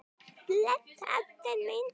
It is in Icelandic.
Bless ástin mín.